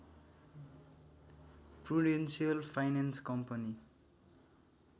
Prudential finance company